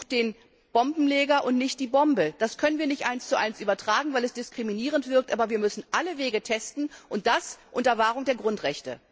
Sucht den Bombenleger und nicht die Bombe! Das können wir nicht eins zu eins übertragen, weil es diskriminierend wirkt, aber wir müssen alle Wege testen, und das unter Wahrung der Grundrechte.